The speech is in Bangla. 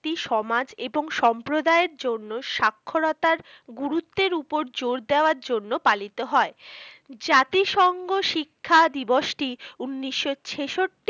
সমাজ ও সম্প্রদায়ের জন্য সাক্ষরতার গুরুত্বের ওপর জোর দেয়ার জন্য পালিত হয় জাতি সঙ্গে শিক্ষা দিবস টি উনিশশো ছেষট্টি